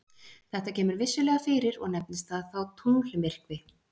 Þetta kemur vissulega fyrir og nefnist það þá tunglmyrkvi.